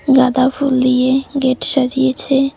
গাঁদা ফুল দিয়ে গেট সাজিয়েছে।